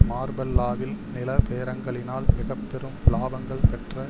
மார்பெல்லாவில் நில பேரங்களினால் மிக பெரும் இலாபங்கள் பெற்ற